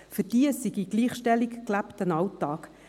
Für diese sei Gleichstellung gelebter Alltag.